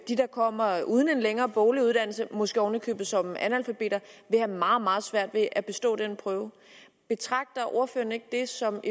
der kommer uden en længere boglig uddannelse måske oven i købet som analfabeter vil have meget meget svært ved at bestå den prøve betragter ordføreren det ikke som